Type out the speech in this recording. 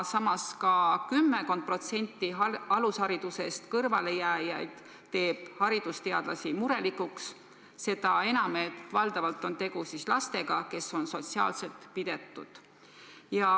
Samas ka kümmekond protsenti alusharidusest kõrvalejääjaid teeb haridusteadlasi murelikuks, seda enam, et valdavalt on tegu lastega, kes on sotsiaalselt pidetud.